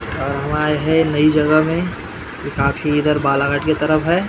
और हम आये है नयी जगह में ये काफी इधर बाला के तरफ है ।